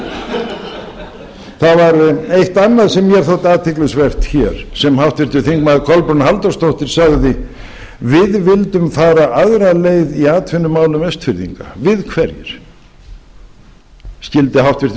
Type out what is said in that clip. var eitt annað sem mér þótti athyglisvert hér sem háttvirtur þingmaður kolbrún halldórsdóttir sagði við vildum fara aðra leið í atvinnumálum austfirðinga við hverjir skyldi háttvirtur